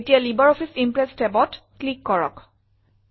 এতিয়া LibreOffice Impress tabত click কৰক